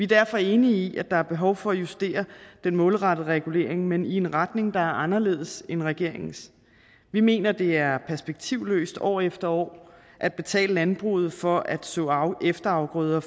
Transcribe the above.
derfor enige i at der er behov for at justere den målrettede regulering men i en retning der er anderledes end regeringens vi mener det er perspektivløst år efter år at betale landbruget for at så efterafgrøder